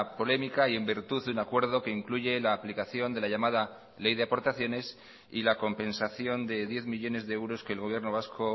polémica y en virtud de un acuerdo que incluye la aplicación de la llamada ley de aportaciones y la compensación de diez millónes de euros que el gobierno vasco